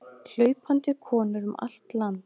Hlaupandi konur um allt land